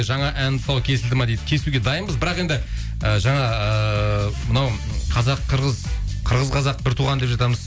жаңа ән тұсауы кесілді ме дейді кесуге дайынбыз бірақ енді і жаңа ыыы мынау қырғыз қазақ бір туған деп жатамыз